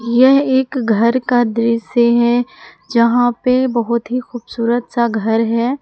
यह एक घर का दृश्य है जहां पे बहोत ही खूबसूरत सा घर है।